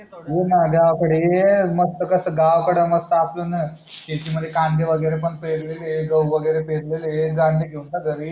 ये ना गावाकडे ये मस्त कस गावाकडे कस मस्त आपण शेतीमध्ये कांदे वगेरे पेरलेले आहे गहू वगेरे पेरलेले आहे कांदे घेऊन जा घरी